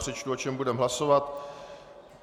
Přečtu, o čem budeme hlasovat.